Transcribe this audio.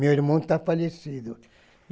Meu irmão tá falecido.